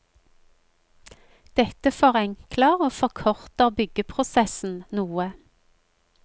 Dette forenkler og forkorter byggeprosessen noe.